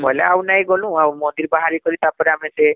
ବୋଲେ ଆଉ ନାଇଁ ଗଲୁ , ମନ୍ଦିର ରୁ ବାହାରି କରି ତାପରେ ଆମେ ସେ